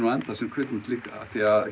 enda sem kvikmynd líka